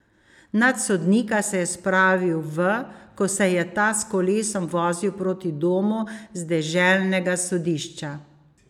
Nad sodnika se je spravil v, ko se je ta s kolesom vozil proti domu z deželnega sodišča.